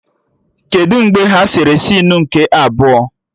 Kedụ mgbe ha sere sinu nke abụọ?